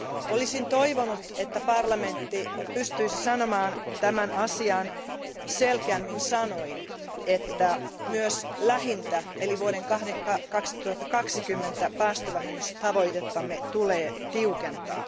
Olisin toivonut, että parlamentti pystyisi sanomaan tämän asian selkeämmin sanoin, että myös lähintä eli vuoden 2020 päästövähennystavoitettamme tulee tiukentaa.